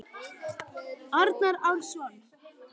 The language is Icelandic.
Arnar Árnason